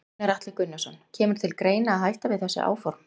Gunnar Atli Gunnarsson: Kemur til greina að hætta við þessi áform?